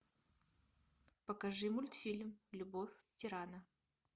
покажи мультфильм любовь тирана